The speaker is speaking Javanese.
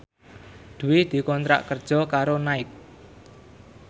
Dwi dikontrak kerja karo Nike